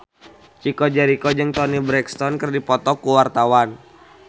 Chico Jericho jeung Toni Brexton keur dipoto ku wartawan